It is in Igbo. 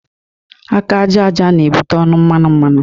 Aka ájá ájá na-ebute ọnụ mmanu mmanu.